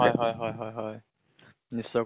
হয় হয় হয় হয় হয় । নিশ্চয়কৈ